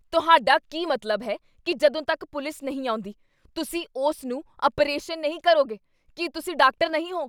ਤੁਹਾਡਾ ਕੀ ਮਤਲਬ ਹੈ, ਕੀ ਜਦੋਂ ਤੱਕ ਪੁਲਿਸ ਨਹੀਂ ਆਉਂਦੀ, ਤੁਸੀਂ ਉਸ ਨੂੰ ਅਪਰੇਸ਼ਨ ਨਹੀਂ ਕਰੋਗੇ? ਕੀ ਤੁਸੀਂ ਡਾਕਟਰ ਨਹੀਂ ਹੋ?